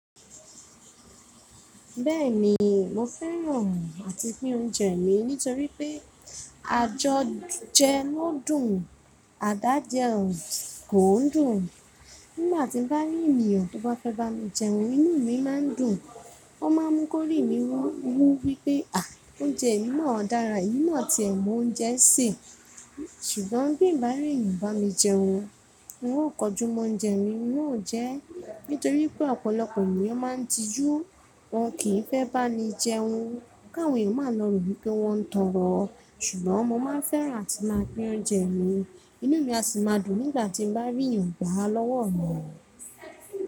Bẹ́ẹ̀ni mo fẹ́ràn àti pín oúnjẹ mi nítorí pé àjọjẹ náà dùn, àdájẹ kò dùn. Nígbà tí mo bá rí ènìyàn tó bá fẹ́ bá mi jẹun inú mi a máa dùn. Wọ́n máa múkórìí mi wù wí pé à oúnjẹ yìí náà dára, yìí náà ti ẹ̀ mú oúnjẹ sè. Ṣùgbọ́n bí mo bá rí ènìyàn bá mi jẹun, wọn ó kọjúmọ́ oúnjẹ mi wọn ó jẹ ẹ́ nítorí pé ọ̀pọ̀lọpọ̀ ènìyàn máa ń tijú, wọ́n kì í fẹ́ bá mi jẹun káwọn eyan máa ń rò ni pé wọ́n ń tọrọ. Ṣùgbọ́n mo máa ń fẹ́ràn àti máa pín oúnjẹ mi, inú mi a sì máa dùn nígbà tí mo bá rí ẹ̀yàn gbá a lọ́wọ́ mi.